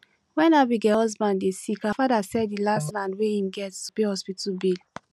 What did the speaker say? when abigail husband dey sick her father sell the last land wey im get to pay hospital bill